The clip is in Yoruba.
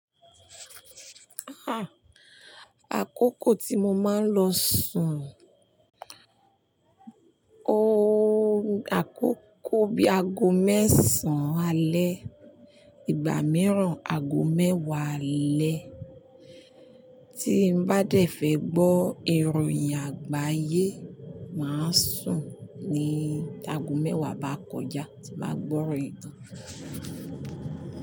Ah! Àkókò tí mo máa ń lọ sùn, ooo, àkókò bí i ago mẹ́sàn-án alẹ́, ìgbà mìíràn ago mẹ́wàá alẹ́. Tí n bá dẹ̀ fẹ́ gbọ́ ìròyìn àgbáyé, màá sùn ní ago mẹ́wàá bá kọjá tí bàá gbọ́ ìròyìn tan.